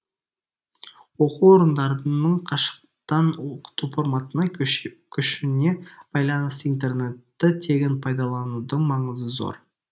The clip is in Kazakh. оқу орындарының қашықтан оқыту форматына көшуіне байланысты интернетті тегін пайдаланудың маңызы зор